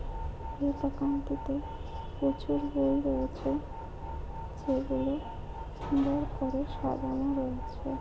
এই দোকানটিতে প্রচুর বই রয়েছে। যেগুলো সুন্দর করে সাজানো রয়েছে।